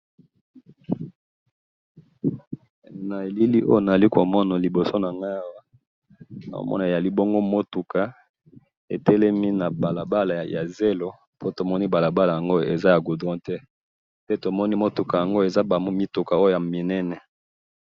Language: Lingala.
na elili oyo nazali komona na liboso na ngayi awa nahomona ezali bongo mutuka etelemi na balabala ya zelo po tomoni balabala yango eza ya goudron te pe tomoni mituka oyo ezali ya minene